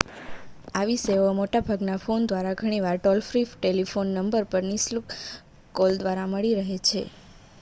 આવી સેવાઓ મોટા ભાગના ફોન દ્વારા ઘણીવાર ટોલ-ફ્રી ટેલિફોન નંબર પર નિશુલ્ક કોલ દ્વારા મળી રહે છે